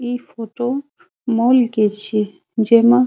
इ photo mall के छिये जेमा --